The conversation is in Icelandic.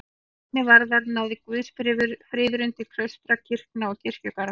Hvað rými varðar náði guðsfriðurinn til klaustra, kirkna og kirkjugarða.